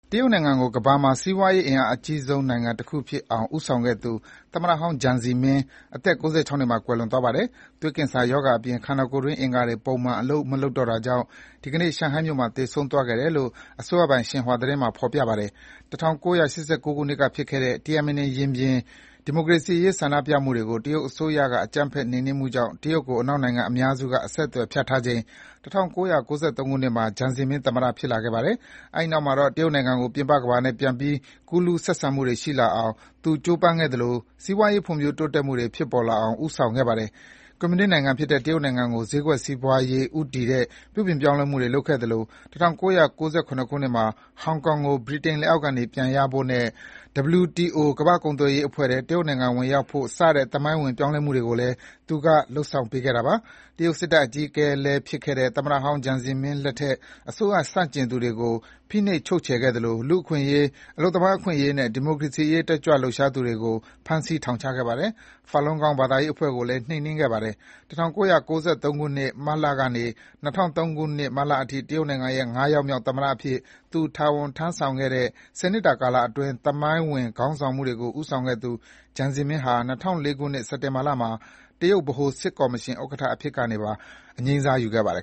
တရုတ်နိုင်ငံကို ကမ္ဘာမှာ စီးပွားရေးအင်အားကြီးနိုင်ငံတခုဖြစ်အောင်ဦးဆောင်ခဲ့သူ သမ္မတဟောင်း Jiang Zemin အသက် ၉၆ နှစ်မှာ ကွယ်လွန်သွားပါတယ်။ သွေးကင်ဆာရောဂါအပြင် ခန္ဒာကိုယ်တွင်းအင်္ဂါတွေ ပုံမှန်အလုပ်မလုပ်တော့တာကြောင့် ဒီကနေ့ ရှန်ဟိုင်းမြို့မှာသေဆုံးခဲ့တယ်လို့ ရှင်ဟွာသတင်းမှာ ဖော်ပြပါတယ်။ ၁၉၈၉ ခုနှစ်ကဖြစ်ခဲ့တဲ့ Tiananmen ရင်ပြင် ဒီမိုကရေစီရေးဆန္ဒပြမှုတွေကို တရုတ်အစိုးရက အကြမ်းဖက်နှိမ်နှင်းမှုကြောင့် တရုတ်ကို အနောက်နိုင်ငံအများစု အဆက်အသွယ်ဖြတ်ထားချိန် ၁၉၉၃ ခုနှစ်မှာ Jiang Zemin သမ္မတဖြစ်လာခဲ့ပါတယ်။ အဲဒီနောက်မှာတော့ တရုတ်နိုင်ငံကို ပြင်ပကမ္ဘာနဲ့ ပြန်ပြီး ကူးလူးဆက်ဆံမှုတွေရှိလာအောင် သူကြိုးပမ်းခဲ့သလို စီးပွါးရေး ဖွံ့ဖြိုး တိုးတက်မှုတွေ ဖြစ်ပေါ်လာအောင် ဦးဆောင်ခဲ့ပါတယ်။ ကွန်မြူနစ်နိုင်ငံဖြစ်တဲ့ တရုတ်နိုင်ငံကို ဈေးကွက်စီးပွားရေးဦးတည်တဲ့ ပြုပြင်ပြောင်းလဲမှုတွေလုပ်ခဲ့သလို ၁၉၉၇ ခုနှစ်မှာ ဟောင်ကောင်ကို ဗြိတိန်လက်အောက်ကနေပြန်ရဖို့နဲ့ WTO ကမ္ဘာ့ကုန်သွယ်ရေးအဖွဲ့ထဲ တရုတ်နိုင်ငံဝင်ရောက်နိုင်ဖို့ စတဲ့ သမိုင်းဝင်ပြောင်းလဲမှုတွေကိုလည်း သူက လုပ်ဆောင်ပေးခဲ့တာပါ။ တရုတ်စစ်တပ် အကြီးအကဲလည်းဖြစ်ခဲ့တဲ့ သမ္မတဟောင်း Jiang Zemin လက်ထက် အစိုးရဆန့်ကျင်သူတွေကို ဖိနှိပ်ချုပ်ချယ်ခဲ့သလို လူ့အခွင့်အရေး၊ အလုပ်သမားအခွင့်အရေးနဲ့ ဒီမိုကရေစီရေးတက်ကြွလှုပ်ရှားသူတွေကို ဖမ်းဆီးထောင်ချခဲ့ပါတယ်။ Falun Gong ဘာသာရေးအဖွဲ့ကိုလည်း နှိမ်နှင်းခဲ့ပါတယ်။ ၁၉၉၃ ခုနှစ်၊ မတ်လကနေ ၂၀၀၃ ခုနှစ် မတ်လအထိ တရုတ်နိုင်ငံရဲ့ ၅ ယောက်မြောက် သမ္မတအဖြစ် သူ တာဝန်ထမ်းဆောင်ခဲ့တဲ့ ၁၀ နှစ်တာကာလအတွင်း သမိုင်းဝင် ခေါင်းဆောင်မှုတွေကို ဦးဆောင်ခဲ့သူ Jiang Zemin ဟာ ၂၀၀၄ ခုနှစ် စက်တင်ဘာလမှာ တရုတ်ဗဟိုစစ်ကော်မရှင်ဥက္ကဋ္ဌအဖြစ်ကနေပါ အငြိမ်းစားယူခဲ့ပါတယ်